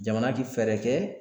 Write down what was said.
Jamana ti fɛɛrɛ kɛ